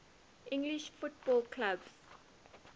english football clubs